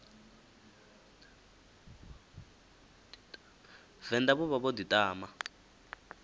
venḓa vho vha vho ḓiṱama